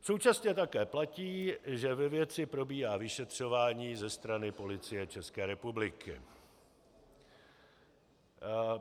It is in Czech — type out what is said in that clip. Současně také platí, že ve věci probíhá vyšetřování ze strany Policie České republiky.